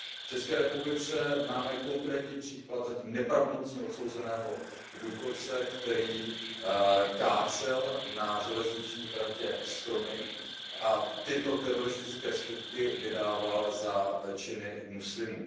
V ČR máme konkrétní případ, zatím nepravomocně odsouzeného důchodce, který kácel na železniční tratě stromy a tyto teroristické skutky vydával za činy muslimů.